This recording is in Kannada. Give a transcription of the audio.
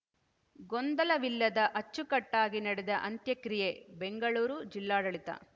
ಗೊಂದಲವಿಲ್ಲದ ಅಚ್ಚುಕಟ್ಟಾಗಿ ನಡೆದ ಅಂತ್ಯಕ್ರಿಯೆ ಬೆಂಗಳೂರು ಜಿಲ್ಲಾಡಳಿತ